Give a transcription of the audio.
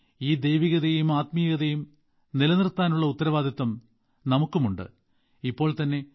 ഈ ദൈവകതയും ആത്മീയതും നിലനിർത്താനുള്ള ഉത്തരവാദിത്തം നമുക്കുമുണ്ട് ഇപ്പോൾതന്നെ